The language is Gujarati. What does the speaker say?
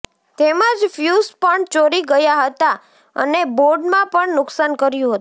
તેમજ ફ્યુઝ પણ ચોરી ગયા હતા અને બોર્ડમાં પણ નુકશાન કર્યું હતું